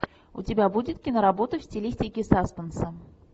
у тебя будет киноработа в стилистике саспенса